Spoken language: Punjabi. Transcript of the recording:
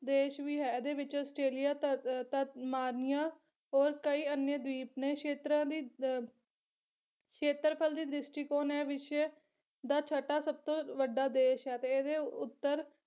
ਦੇਸ਼ ਵੀ ਹੈ ਇਹਦੇ ਵਿੱਚ ਆਸਟ੍ਰੇਲੀਆ ਧਤ ਧਮਾਨੀਆ ਔਰ ਕਈ ਅਨਿਯਾ ਦੀਪ ਨੇ ਖੇਤਰਾਂ ਦੀ ਅਹ ਖੇਤਰਫਲ ਦੀ ਦ੍ਰਿਸ਼ਟੀਕੋਣ ਐ ਵਿਸ਼ਵ ਦਾ ਛਟਾ ਸਭਤੋਂ ਵੱਡਾ ਦੇਸ਼ ਹੈ ਤੇ ਇਹਦੇ ਉੱਤਰ